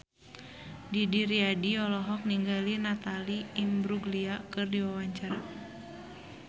Didi Riyadi olohok ningali Natalie Imbruglia keur diwawancara